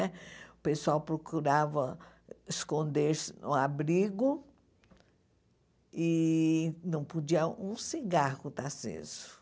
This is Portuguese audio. Né? O pessoal procurava esconder-se no abrigo e não podia um cigarro estar aceso.